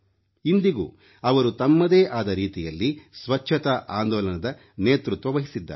ಇಂದಿಗೂ ಅವರು ತಮ್ಮದೇ ಆದ ರೀತಿಯಲ್ಲಿ ಸ್ವಚ್ಛತಾ ಆಂದೋಲನದ ನೇತೃತ್ವವಹಿಸಿದ್ದಾರೆ